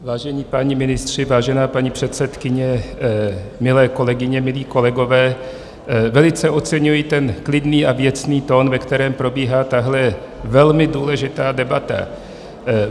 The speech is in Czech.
Vážení páni ministři, vážená paní předsedkyně, milé kolegyně, milí kolegové, velice oceňuji ten klidný a věcný tón, ve kterém probíhá tahle velmi důležitá debata.